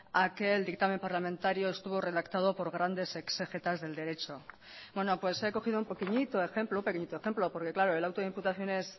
a que el dictamen parlamentario estuvo redactado por grandes exégetas del derecho bueno pues he cogido un pequeñito ejemplo un pequeñito ejemplo porque claro el auto de imputación es